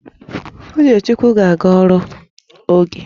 Uchechukwu ga-aga ọrụ n'oge